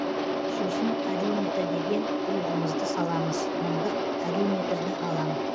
сосын арюметр деген құрылғымызды саламыз мыңдық арюметрді алам